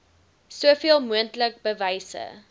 soveel moontlik bewyse